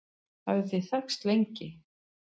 hafið þið þekkst lengi